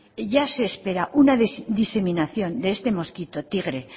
ya se espera una diseminación de este mosquito tigre